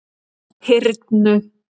Hyrnu